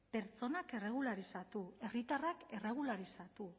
pertsonak erregularizatu herritarrak erregularizatu